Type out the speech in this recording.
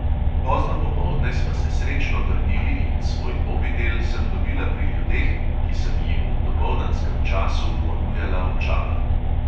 Pozno popoldne sva se srečno vrnili in svoj mobitel sem dobila pri ljudeh, ki sem jim v dopoldanskem času ponujala očala.